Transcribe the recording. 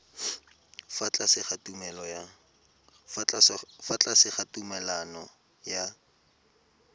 fa tlase ga tumalano ya